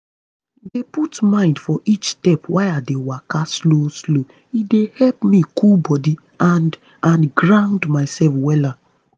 dey put mind for each step while i dey waka slow slow e dey help me cool body and and ground myself wella